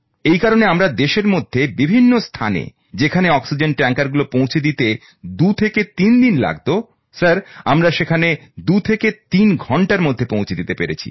এই কারণে আমরা দেশের মধ্যে বিভিন্ন স্থানে যেখানে অক্সিজেন ট্যাঙ্কারগুলো পৌঁছে দিতে দুই থেকে তিন দিন লাগতো স্যার আমরা সেখানে দুই থেকে তিন ঘন্টার মধ্যে পৌঁছে দিতে পেরেছি